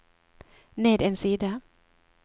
ned en side